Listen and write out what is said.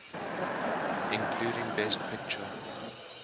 including best picture